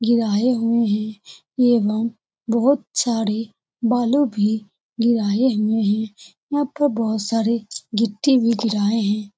गिराए हुए है। ये बोहोत सारे बालो भी गिराए हुए है। यहाँ पर बहुत सारी मिट्टी भी गिराए हैं।